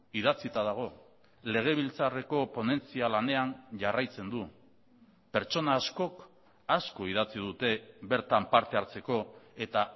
idatzita dago legebiltzarreko ponentzia lanean jarraitzen du pertsona askok asko idatzi dute bertan parte hartzeko eta